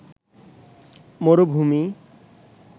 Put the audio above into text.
মরুভূমি